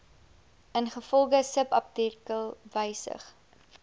ingevolge subartikel wysig